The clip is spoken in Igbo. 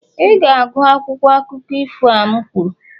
Ị ga-agụ akwụkwọ akụkọ ifo a m kwuru!